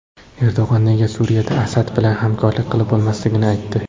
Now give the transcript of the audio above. Erdo‘g‘on nega Suriyada Asad bilan hamkorlik qilib bo‘lmasligini aytdi.